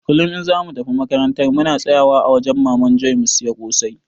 kullum in zamu tafi makarantar muna tsayawa a wajan maman Joe mu siya kosai